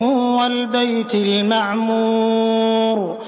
وَالْبَيْتِ الْمَعْمُورِ